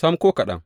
Sam, ko kaɗan!